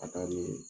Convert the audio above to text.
A ka di